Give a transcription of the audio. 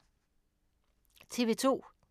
TV 2